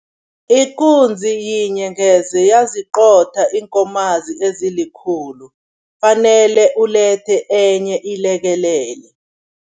Ikunzi yinye ngeze yaziqotha iinkomazi ezikhulu, fanele ulethe enye iyilekelele.